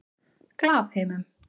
Glaðheimum